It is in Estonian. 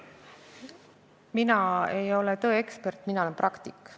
Mina ei ole tõeekspert, mina olen praktik.